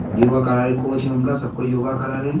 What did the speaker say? योगा करा रहे कोच सब को योगा करा रहे है।